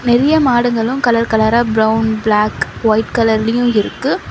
நெறைய மாடுங்களு கலர் கலரா பிரவுன் பிளாக் ஒய்ட் கலர்லயு இருக்கு.